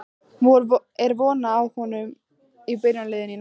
Er von á honum í byrjunarliðinu í næsta leik?